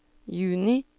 juni